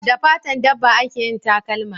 Da fatan dabba a ke yin takalma